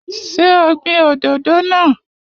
Ṣé o gbin òdòdó náà?